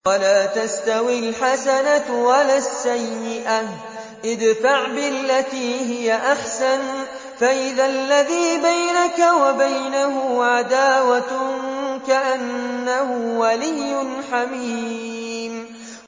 وَلَا تَسْتَوِي الْحَسَنَةُ وَلَا السَّيِّئَةُ ۚ ادْفَعْ بِالَّتِي هِيَ أَحْسَنُ فَإِذَا الَّذِي بَيْنَكَ وَبَيْنَهُ عَدَاوَةٌ كَأَنَّهُ وَلِيٌّ حَمِيمٌ